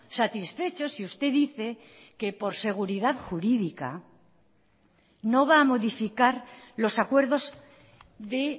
satisfechos y usted dice que por seguridad jurídica no va a modificar los acuerdos de